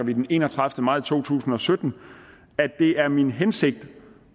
den enogtredivete maj 2017 det er min hensigt